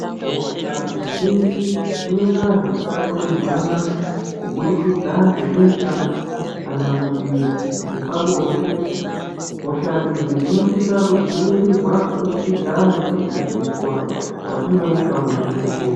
Hosha dzizhinji dzinoita zvekutapurirwana kuburikidza ngebesha kana kuti ngepabonde hosha idzi dzinosisa kudzivirirwa kubudikidza ngekudzidziswa kwatinouta kuzvibhedhlera.